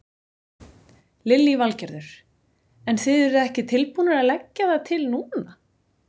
Lillý Valgerður: En þið eruð ekki tilbúnir að leggja það til núna?